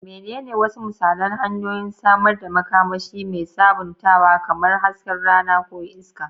Menene wasu misalan hanyoyin samar da makamashi mai sabuntawa, kamar hasken rana ko iska?